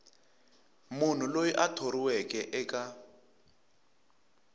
munhu loyi a thoriweke eka